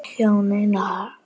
Hjónin fjórðu.